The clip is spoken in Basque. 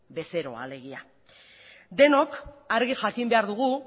bezeroa alegia denok argi jakin behar dugu